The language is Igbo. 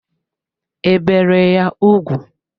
E bere ya ugwu?